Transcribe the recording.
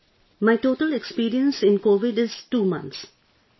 Yes Sir... my total experience in COVID is 2 months